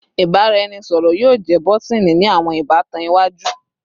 Ibaraẹnisọrọ yoo jẹ bọtini ni awọn ibatan iwaju